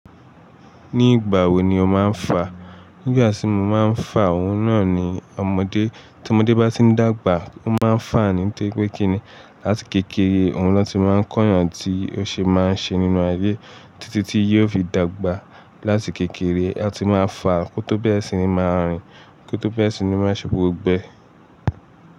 Ní ìgbà wo ni ó máa ń fà? Nígbà tí mo máa ń fà òun náà ni ọmọdé, tí ọmọdé bá ti n dàgbà, ó máa ń fà ní tóri pé kíni. Láti kékeré, òun ló ti máa ń kó yan tí ó ṣe máa ń ṣe nínú ayé títí tí yóò fi dàgbà. Láti kékeré, ẹ ti máa fà kó tó bẹ́rẹ̀ sí ní máa rìn, kó tó bẹ́rẹ̀ sí ní má ṣe gbógbo é.